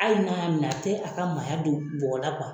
Hali n'a ya minɛ a tɛ a ka maaya don bɔgɔ la